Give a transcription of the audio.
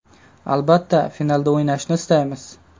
Albatta, finalda o‘ynashni istaymiz.